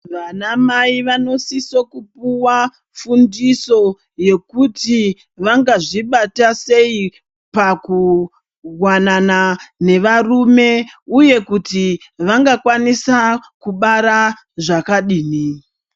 Vanamai vanosisa kupuwa fundiso yekuti vangazvibata sei pakuwanana nevarume uye kuti vangakwanisa kubara zvakadini.